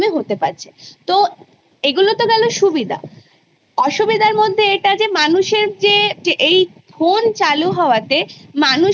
তারপর Upper Primary হয় Class Eight পর্যন্ত তারপরে Secondary হয় যেটা Class Ten অবধি তারপর Higher Secondary যেটা Class Twelve অবধি